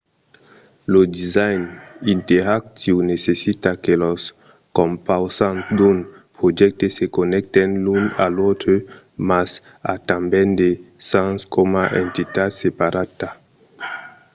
lo design interactiu necessita que los compausants d’un projècte se connècten l’un a l’autre mas a tanben de sens coma entitat separada